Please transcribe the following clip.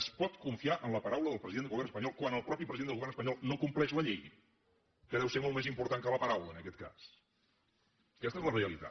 es pot confiar en la paraula del president del govern espanyol quan el mateix president del govern espanyol no compleix la llei que deu ser molt més important que la paraula en aquest cas aquesta és la realitat